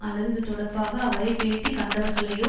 அல்லது இது தொடர்பாக அவரை பேட்டி கண்டவர்களையோ